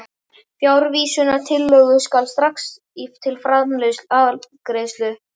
Frávísunartillögu skal taka strax til afgreiðslu.